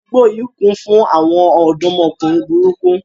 Àdúgbò yìí kún fún àwọn ọ̀dọ́mọkùnrin burúkú